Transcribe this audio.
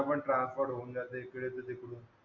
सगळं ट्रान्सपर होऊन जात इकडून च तिकडून